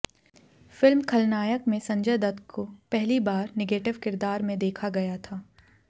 film Khalnayak Sanjay Dutt की पहली बार निगेटिव किरदार में देखा गया था